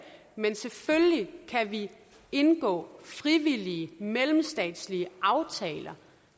men selvfølgelig kan vi indgå frivillige mellemstatslige aftaler